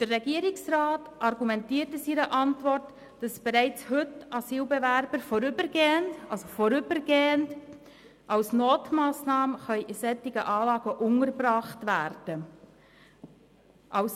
Der Regierungsrat argumentiert in seiner Antwort, dass bereits heute Asylbewerber vorübergehend als Notmassnahme in solchen Anlagen untergebracht werden können.